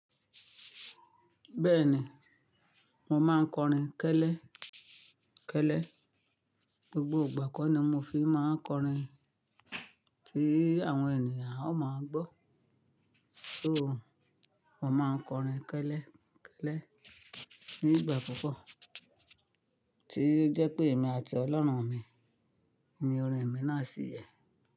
Bẹ́ẹ̀ni, mo máa ń kọrin kẹ́lẹ́ kẹ́lẹ́. Gbogbo ìgbà kan ni mo fi máa ń kọrin tí àwọn ènìyàn ó máa gbọ́. Soo, mo máa ń kọrin kẹ́lẹ́ kẹ́lẹ́ nígbà púpọ̀ tí jẹ́ pé èmi àti ọlọ́run mi ni orin mi náà sì yẹ.